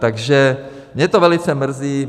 Takže mě to velice mrzí.